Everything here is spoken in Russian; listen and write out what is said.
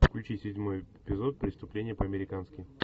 включи седьмой эпизод преступление по американски